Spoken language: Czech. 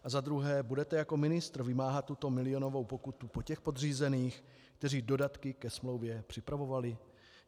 A za druhé - budete jako ministr vymáhat tuto milionovou pokutu po těch podřízených, kteří dodatky ke smlouvě připravovali?